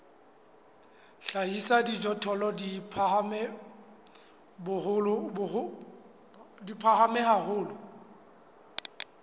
hlahisa dijothollo di phahame haholo